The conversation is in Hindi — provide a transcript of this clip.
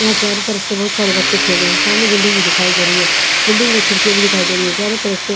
यहाँ चारो तरफ चे बहुत सारे बच्चे खेल रहे है सामने बिल्डिंग भी दिखाई दे रही है बिल्डिंग में खिड़कियाँ भी दिखाई दे रही है चारो तरफ से--